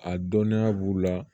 A dɔnniya b'u la